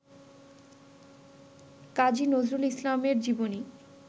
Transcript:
কাজী নজরুল ইসলামের জীবনী